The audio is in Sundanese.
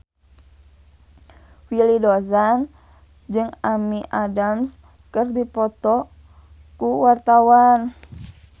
Willy Dozan jeung Amy Adams keur dipoto ku wartawan